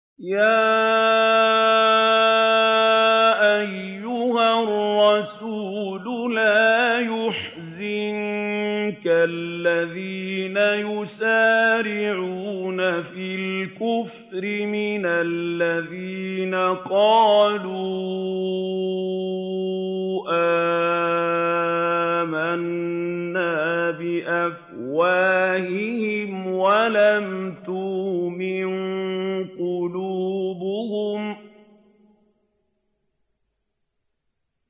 ۞ يَا أَيُّهَا الرَّسُولُ لَا يَحْزُنكَ الَّذِينَ يُسَارِعُونَ فِي الْكُفْرِ مِنَ الَّذِينَ قَالُوا آمَنَّا بِأَفْوَاهِهِمْ وَلَمْ تُؤْمِن قُلُوبُهُمْ ۛ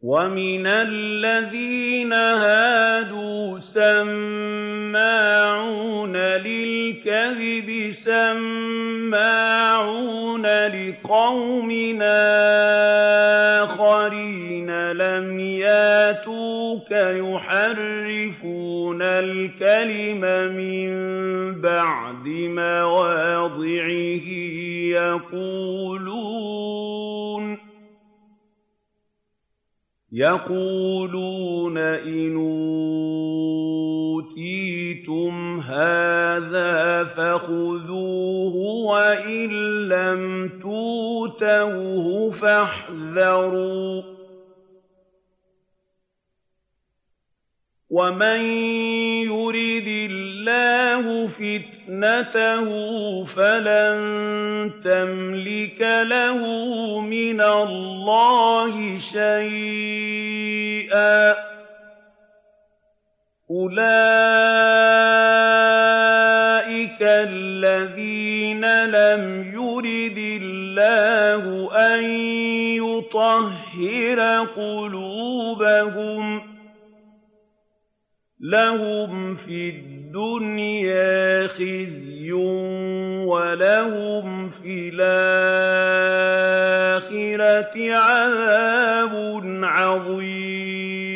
وَمِنَ الَّذِينَ هَادُوا ۛ سَمَّاعُونَ لِلْكَذِبِ سَمَّاعُونَ لِقَوْمٍ آخَرِينَ لَمْ يَأْتُوكَ ۖ يُحَرِّفُونَ الْكَلِمَ مِن بَعْدِ مَوَاضِعِهِ ۖ يَقُولُونَ إِنْ أُوتِيتُمْ هَٰذَا فَخُذُوهُ وَإِن لَّمْ تُؤْتَوْهُ فَاحْذَرُوا ۚ وَمَن يُرِدِ اللَّهُ فِتْنَتَهُ فَلَن تَمْلِكَ لَهُ مِنَ اللَّهِ شَيْئًا ۚ أُولَٰئِكَ الَّذِينَ لَمْ يُرِدِ اللَّهُ أَن يُطَهِّرَ قُلُوبَهُمْ ۚ لَهُمْ فِي الدُّنْيَا خِزْيٌ ۖ وَلَهُمْ فِي الْآخِرَةِ عَذَابٌ عَظِيمٌ